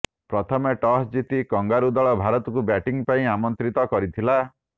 ପ୍ରଥମେ ଟସ୍ ଜିତି କଙ୍ଗାରୁ ଦଳ ଭାରତକୁ ବ୍ୟାଟିଙ୍ଗ ପାଇଁ ଆମନ୍ତ୍ରିତ କରିଥିଲା